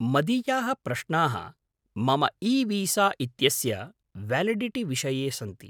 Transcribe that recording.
मदीयाः प्रश्नाः मम ईवीसा इत्यस्य व्यालिडिटि विषये सन्ति।